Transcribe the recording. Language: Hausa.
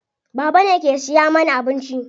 Baba ne ke siya mana abinci.